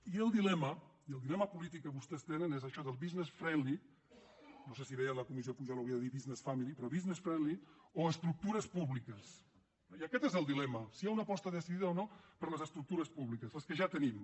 i el dilema i el dilema polític que vostès tenen és això del business friendly no sé si veient la comissió pujol hauria de dir business family però o estructures públiques eh i aquest és el dilema si hi ha una aposta decidida o no per les estructures públiques les que ja tenim